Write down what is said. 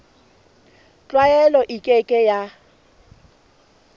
tlwaelo e ke ke ya